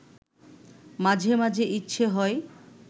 মাঝে মাঝে ইচ্ছে হয়